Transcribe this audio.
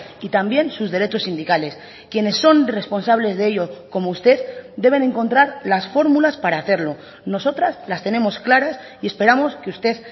y también sus derechos sindicales quienes son responsables de ello como usted deben encontrar las fórmulas para hacerlo nosotras las tenemos claras y esperamos que usted